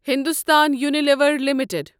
Hindustan Unilever limited